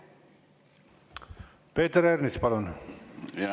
Peeter Ernits, palun!